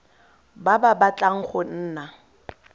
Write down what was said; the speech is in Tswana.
ba ba batlang go nna